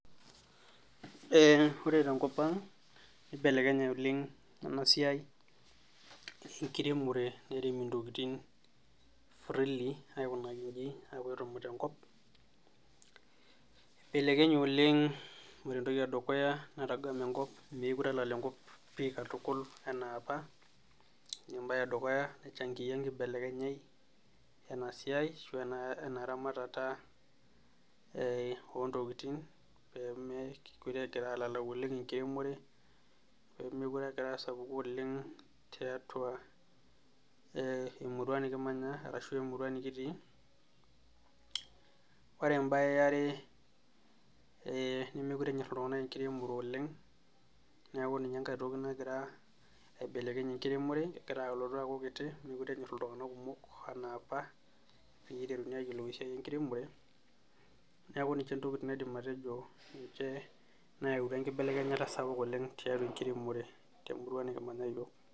Ore tenkopang' nibelekenye ena siai enkiremore nairemi intokitin, aikunaki iji amu etumute enkop, ibelekenye oleng ore entoki edukuya etumute enkop mookire elala enkop enaa apa, mookire egira alalau oleng enkiremore, pee mokire egira asapuku oleng' tiatua emurua nikimanya ashu enikitii, ore ebaye yare nemokire enyor iltunganak enkiremore oleng' neeku niche intokitin naidim atejo nayautua inkibelekenyat temurua nikimanya iyiok.